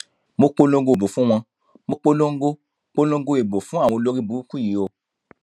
mo polongo ìbò fún wọn mo polongo polongo ìbò fún àwọn olórìbùrùkù yìí o